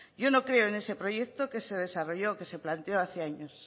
yo no creo en ese proyecto que se desarrolló que se planteó hace años